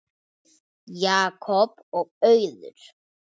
Jakob og Auður.